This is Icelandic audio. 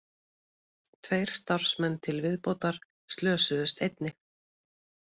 Tveir starfsmenn til viðbótar slösuðust einnig